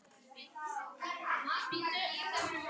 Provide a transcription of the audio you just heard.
Sveitarfélög hækka gjöld